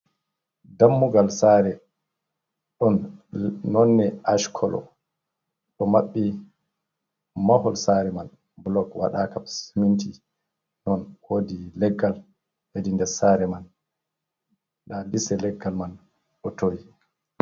Dammugal saare, ɗon nonde ash kolo ɗo maɓɓi. Mahol saare man blok waɗaka siminti. Non, wodi leggal hedi nder saare man. Nda lise leggal man ɗo towi